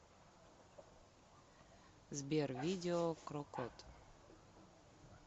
сбер видео крокот